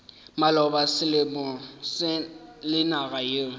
maloba selemo le naga yeo